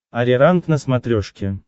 ариранг на смотрешке